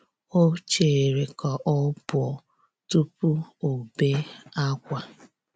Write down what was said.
O chere ka ọ pụọ tụpụ ọbe akwa.